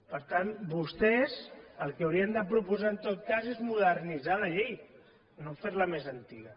per tant vostès el que haurien de proposar en tot cas és modernitzar la llei no ferla més antiga